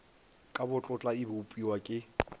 ka botlotla e bopiwa ke